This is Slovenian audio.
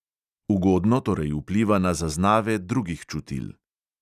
Ugodno torej vpliva na zaznave drugih čutil.